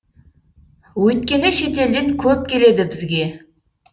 өйткені шетелден көп келеді бізге